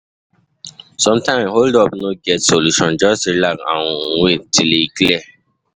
Sometimes hold-up no get solution, just relax and wait till e clear.